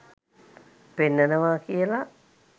පෙන්නනවා කියලා.